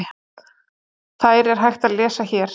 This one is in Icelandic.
Þær er hægt að lesa hér.